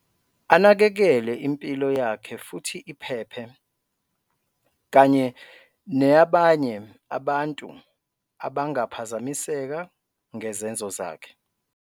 Anakekele impilo yakhe futhi iphephe, kanye neyabanye abantu abangaphazamiseka ngezenzo zakhe.